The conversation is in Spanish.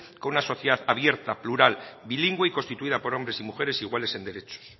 con una sociedad abierta plural bilingüe y constituida por hombres y mujeres iguales en derechos